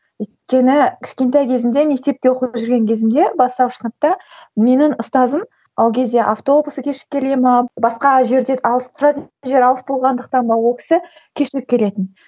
өйткені кішкентай кезімде мектепте оқып жүрген кезімде бастауыш сыныпта менің ұстазым ол кезде автобус кешігіп келе ме басқа жерден алыс тұратын жер алыс болғандықтан ба ол кісі кешігіп келетін